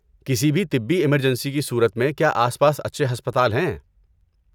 کسی بھی طبی ایمرجنسی کی صورت میں، کیا آس پاس اچھے ہسپتال ہیں؟